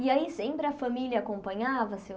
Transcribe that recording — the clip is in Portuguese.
E aí sempre a família acompanhava, Seu